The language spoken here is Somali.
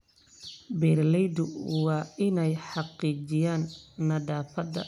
Beeralaydu waa inay xaqiijiyaan nadaafadda meelaha xoolaha lagu dhaqdo.